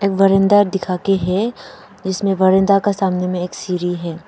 एक बरंदा दिखा के है जिसमें बरंदा के सामने में एक सीढ़ी है।